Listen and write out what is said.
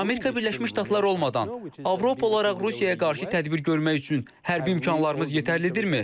Amerika Birləşmiş Ştatları olmadan Avropa olaraq Rusiyaya qarşı tədbir görmək üçün hərbi imkanlarımız yetərlidirmi?